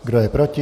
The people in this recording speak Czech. Kdo je proti?